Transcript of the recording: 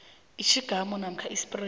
itjhingamu namkha ispreyi